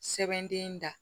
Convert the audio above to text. Sɛbɛn den da